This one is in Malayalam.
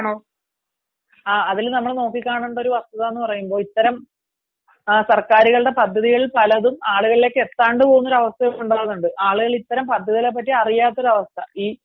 പക്ഷെ അതത്ര ഫലപ്രദമായിട്ട് വരുന്നില്ല അതാണ് ഒരു കാര്യം ഇപ്പോൾ തന്നെയെടുത്താൽ ഒരുപാട് കഴിവുക താരങ്ങൾ ഇപ്പം നമ്മള് ജോലി സാധ്യത എടുത്താലും അവിടെ കായികത്തിനു